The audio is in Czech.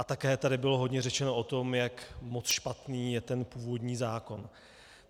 A také tady bylo hodně řečeno o tom, jak moc špatný je ten původní zákon.